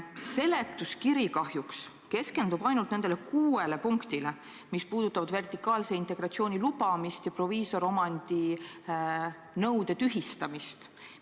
Seletuskiri kahjuks keskendub ainult nendele kuuele punktile, mis käsitlevad vertikaalse integratsiooni lubamist ja proviisoriomandi nõude tühistamist.